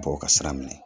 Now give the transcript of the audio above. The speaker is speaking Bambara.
Bɔ u ka sira minɛ